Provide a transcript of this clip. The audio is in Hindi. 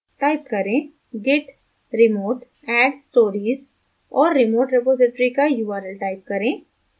type करें git remote add stories और remote रिपॉज़िटरी का url type करें